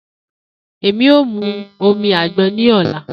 Emi o mu agbon ni ọla.